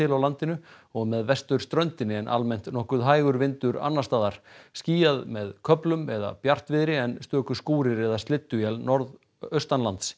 á landinu og með vesturströndinni en almennt nokkuð hægur vindur annars staðar skýjað með köflum eða bjartviðri en stöku skúrir eða slydduél norðaustanlands